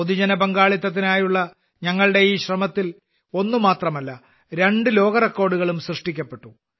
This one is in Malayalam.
പൊതുപങ്കാളിത്തത്തിനായുള്ള ഞങ്ങളുടെ ഈ ശ്രമത്തിൽ ഒന്നല്ല രണ്ട് ലോകറെക്കോർഡുകളും സൃഷ്ടിക്കപ്പെട്ടു